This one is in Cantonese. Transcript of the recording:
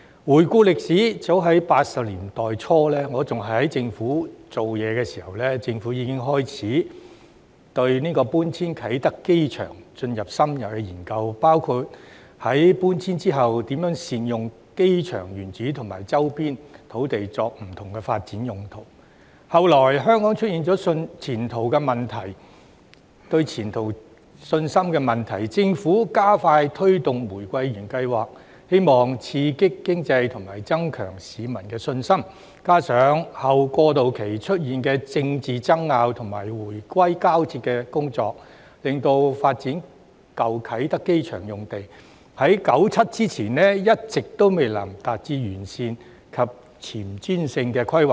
回顧歷史，早在1980年代初，我仍然在政府部門工作時，政府已經開始對搬遷啟德機場進行深入研究，包括在搬遷後如何善用機場原址和周邊土地作不同發展用途，後來香港出現對前途的信心問題，政府加快推動"玫瑰園計劃"，希望刺激經濟和增強市民的信心，加上後過渡期出現的政治爭拗和回歸交接的工作，令發展舊啟德機場用地在1997年之前一直未能達致完善及前瞻性的規劃。